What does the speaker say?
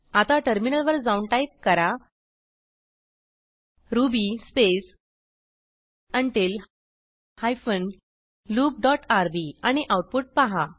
आता टर्मिनल वर जाऊन टाईप करा ruby space until hyphen loop dot rb आणि आऊटपुट पहा